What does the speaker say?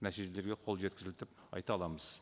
нәтижелерге қол жеткізілді деп айта аламыз